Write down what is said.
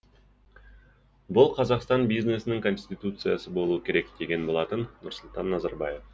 бұл қазақстан бизнесінің конституциясы болуы керек деген болатын нұрсұлтан назарбаев